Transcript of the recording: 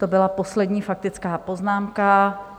To byla poslední faktická poznámka.